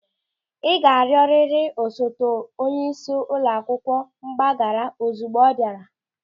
Ị ga-arịọrịrị osote onyeisi ụlọ akwụkwọ mgbaghara ozigbo ọ bịara!